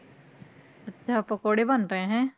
ਅੱਛਾ ਪਕੌੜੇ ਬਣ ਰਹੇ ਹੈਂ।